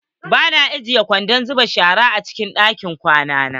Ba na ajiyan kwandon zuba shara a cikin ɗakin kwana na.